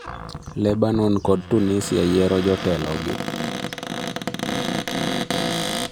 Lebanon kod Tunisia yiero jotelo gi